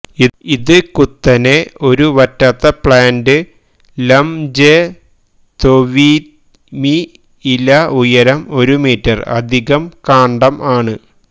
ഇത് കുത്തനെ ഒരു വറ്റാത്ത പ്ലാന്റ് ലംത്സെത്നൊവിദ്ംയ്മി ഇല ഉയരം ഒരു മീറ്റർ അധികം കാണ്ഡം ആണ്